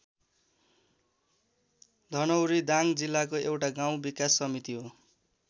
धनौरी दाङ जिल्लाको एउटा गाउँ विकास समिति हो।